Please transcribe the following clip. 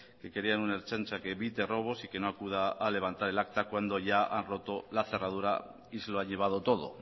que querían una ertzaintza que evite robos y que no acuda a levantar el acta cuando ya han roto la cerradura y se lo ha llevado todo